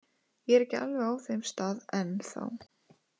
Ég er ekki alveg á þeim stað enn þá.